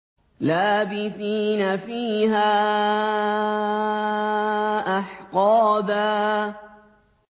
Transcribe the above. لَّابِثِينَ فِيهَا أَحْقَابًا